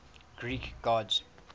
greek gods